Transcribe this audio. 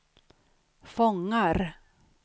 fångar